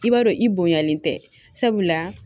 I b'a dɔn i bonyalen tɛ sabula